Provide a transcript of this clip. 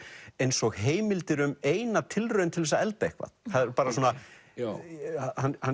eins og heimildir um eina tilraun til þess að elda eitthvað það er bara svona hann